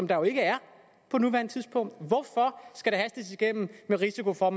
der jo ikke er på nuværende tidspunkt hvorfor skal det hastes igennem med risiko for